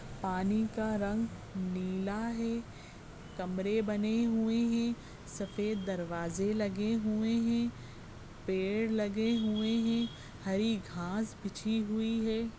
पानी का रंग नीला है कमरे बने हुए हैं सफेद दरवाजे लगे हुए हैं पेड़ लगे हुए हैं हरी घास बीछी हुई है।